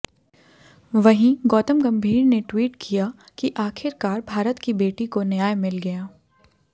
वहीं गौतम गंभीर ने ट्विट किया कि आखिरकार भारत की बेटी को न्याय मिल गया